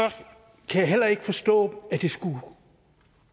kan jeg heller ikke forstå